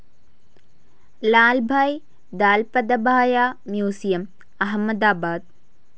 Lalbhai Dalpatbhai museum, Ahmedabad